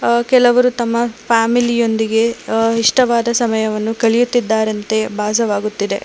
ಕೆಲವರು ತಮ್ಮ ಫ್ಯಾಮಿಲಿ ಯೊಂದಿಗೆ ಇಷ್ಟವಾದ ಸಮಯವನ್ನು ಕಲಿಯುತ್ತಿದ್ದಾರಂತೆ ಭಾಸವಾಗುತ್ತಿದೆ.